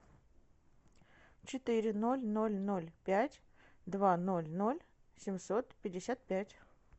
четыре ноль ноль ноль пять два ноль ноль семьсот пятьдесят пять